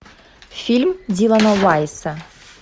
фильм дилана уайсса